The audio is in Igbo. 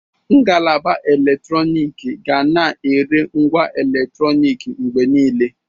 Ngalaba eletrọnịkị ga na-ere ngwa eletrọnịkị mgbe niile.